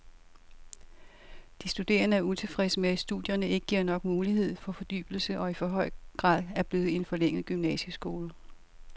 De studerende er utilfredse med, at studierne ikke giver nok mulighed for fordybelse og i for høj grad er blevet en forlænget gymnasieskole.